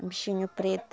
Um bichinho preto.